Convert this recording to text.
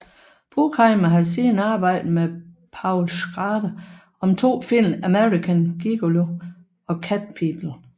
Bruckheimer har siden arbejdet med Paul Schrader om to film American Gigolo og Cat People